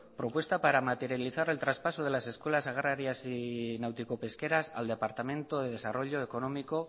propuesta para materializar el traspaso de las escuelas agrarias y náutico pesqueras al departamento de desarrollo económico